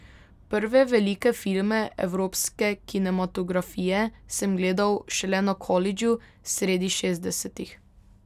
Prve velike filme evropske kinematografije sem gledal šele na kolidžu, sredi šestdesetih.